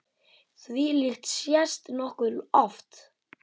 Þvílíkt sést nokkuð oft.